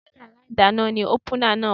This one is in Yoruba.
Ṣé yàrá ìdáná ni ópúnà náà wà?